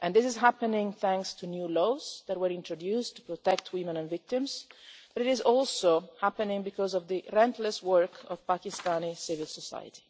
and this is happening thanks to new laws that were introduced to protect women and victims, but it is also happening because of the relentless work of Pakistani civil society.